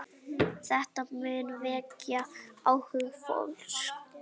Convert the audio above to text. Þetta mun vekja áhuga fólks.